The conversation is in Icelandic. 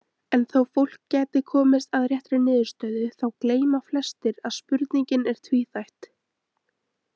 En þó fólk gæti komist að réttri niðurstöðu þá gleyma flestir að spurningin er tvíþætt.